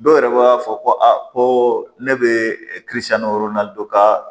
Dɔw yɛrɛ b'a fɔ ko a ko ne bɛ dɔ ka